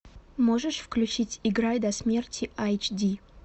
можешь включить играй до смерти айч ди